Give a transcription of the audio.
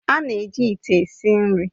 A na-eji ite esi nri